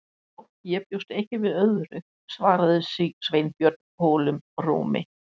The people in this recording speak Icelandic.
Já, ég bjóst ekki við öðru- svaraði Sveinbjörn holum rómi.